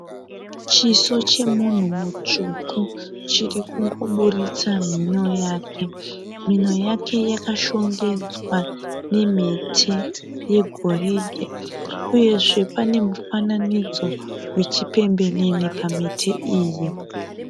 Chiso chemunhu mutsvuku chiri kungoburitsa mhuno yake. Mhinho yake yakashongedzwa nemhete yegoridhe uyezve pane mufananidzo wechipembenene pamhete iyi.